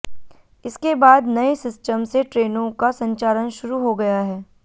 इसके बाद नए सिस्टम से ट्रेनों का संचालन शुरू हो गया है